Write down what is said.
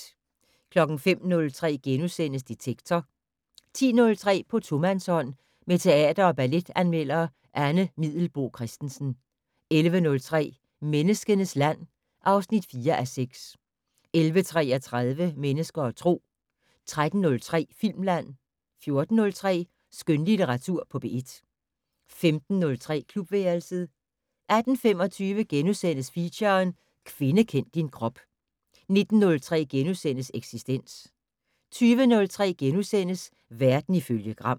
05:03: Detektor * 10:03: På tomandshånd med teater- og balletanmelder Anne Middelboe Christensen 11:03: Menneskenes land (4:6) 11:33: Mennesker og Tro 13:03: Filmland 14:03: Skønlitteratur på P1 15:03: Klubværelset 18:25: Feature: Kvinde kend din krop * 19:03: Eksistens * 20:03: Verden ifølge Gram *